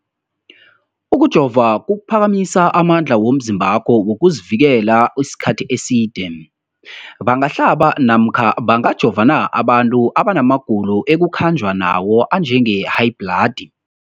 Ukujova kuphakamisa amandla womzimbakho wokuzivikela isikhathi eside. Umbuzo, bangahlaba namkha bangajova na abantu abana magulo ekukhanjwa nawo, njengehayibhladi?